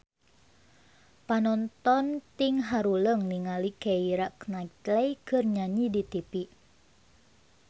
Panonton ting haruleng ningali Keira Knightley keur nyanyi di tipi